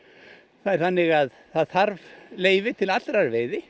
það er þannig að það þarf leyfi til allrar veiði